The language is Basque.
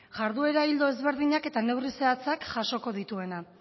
jarduera ildo desberdinak eta neurri zehatzak jasoko dituena